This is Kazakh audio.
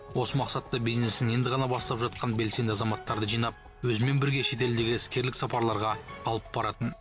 осы мақсатта бизнесін енді ғана бастап жатқан белсенді азаматтарды жинап өзімен бірге шетелдегі іскерлік сапарларға алып баратын